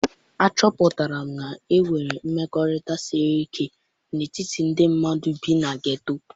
Achọpụtara m na enwere mmekọrịta siri ike n'etiti ndị mmadụ bi na geto.